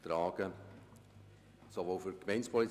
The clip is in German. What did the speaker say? – Er wünscht das Wort nicht mehr.